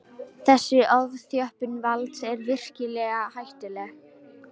Þessi ofþjöppun valds er virkilega hættuleg